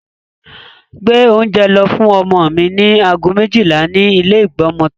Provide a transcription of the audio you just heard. Gbé oúnjẹ lọ fún ọmọ mi ní aago méjìlá ní ilé ìgbọmọtọ́.